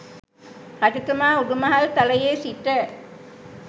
රජතුමා උඩුමහල් තලයේ සිට